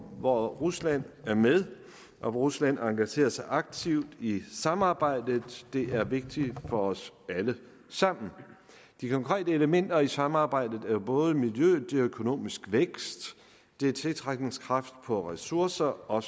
hvor rusland er med og hvor rusland engagerer sig aktivt i samarbejdet det er vigtigt for os alle sammen de konkrete elementer i samarbejdet er både miljøet det er økonomisk vækst det er tiltrækningskraft på ressourcer og